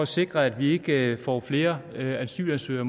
sikre at vi ikke får flere asylansøgere